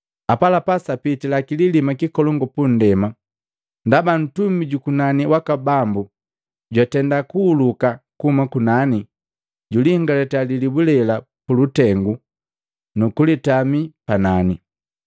Apalapa sapitila kililima kikolongu pundema, ndaba ntumi jukunani waka Bambu jwatenda kuhuluka kuhuma kunani, juliingalitia lilibu lela pulutengu nukulitami panani.